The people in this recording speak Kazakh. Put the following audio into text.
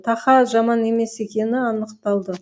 тақа жаман емес екені анықталды